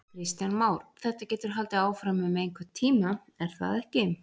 Kristján Már: Þetta getur haldið áfram um einhvern tíma er það ekki?